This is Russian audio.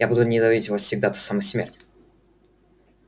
я буду ненавидеть вас всегда до самой смерти